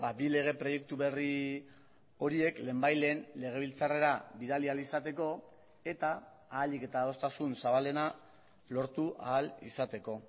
bi lege proiektu berri horiek lehenbailehen legebiltzarrera bidali ahal izateko eta ahalik eta adostasun zabalena lortu ahal izateko